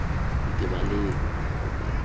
ntebaleng